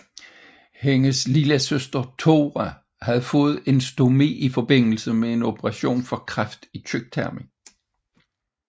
Hendes lillesøster Thora havde fået en stomi i forbindelse med en operation for kræft i tyktarmen